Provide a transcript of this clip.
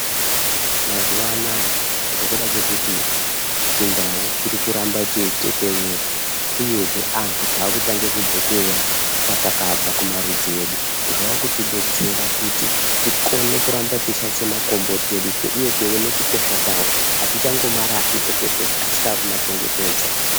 Mazuvana anaya nekuda kwekuti chindau chirikuramba cheitepenyuka uye zve antu takutanga kudzokera kumarudzi edu zvakutibetsera kuti tirambe teishandisa makomboti edu uye teiwona kukosha kwawo atichangomarashi peshe peshe asi takumachengetedza.